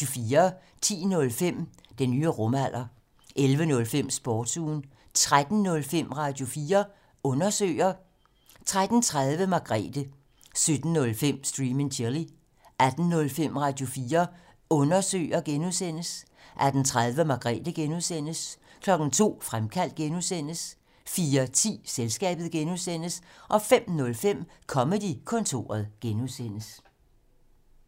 10:05: Den nye rumalder 11:05: Sportsugen 13:05: Radio4 Undersøger 13:30: Margrethe 17:05: Stream and Chill 18:05: Radio4 Undersøger (G) 18:30: Margrethe (G) 02:00: Fremkaldt (G) 04:10: Selskabet (G) 05:05: Comedy-kontoret (G)